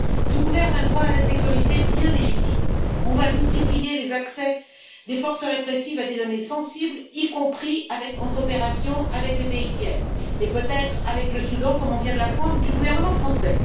Sous couvert d'un droit à la sécurité, bien légitime, on va multiplier les accès des forces répressives à des données sensibles, y compris en coopération avec les pays tiers, et peut être avec le Soudan, comme on vient de l'apprendre du gouvernement français.